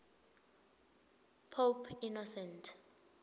pope innocent